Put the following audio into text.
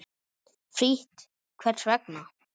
Frítt Hvers vegna?